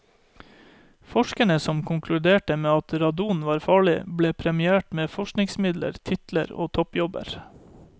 Forskerne som konkluderte med at radon var farlig, ble premiert med forskningsmidler, titler og toppjobber.